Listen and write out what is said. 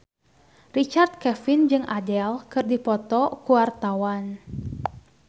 Richard Kevin jeung Adele keur dipoto ku wartawan